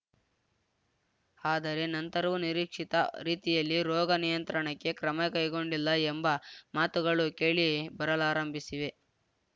ಆದರೆ ನಂತರವೂ ನಿರೀಕ್ಷಿತ ರೀತಿಯಲ್ಲಿ ರೋಗ ನಿಯಂತ್ರಣಕ್ಕೆ ಕ್ರಮ ಕೈಗೊಂಡಿಲ್ಲ ಎಂಬ ಮಾತುಗಳು ಕೇಳಿ ಬರಲಾರಂಭಿಸಿವೆ